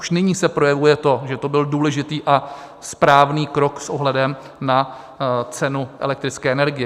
Už nyní se projevuje to, že to byl důležitý a správný krok s ohledem na cenu elektrické energie.